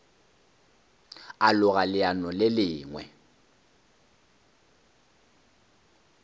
a loga leano le lengwe